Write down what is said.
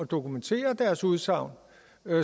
dokumentere deres udsagn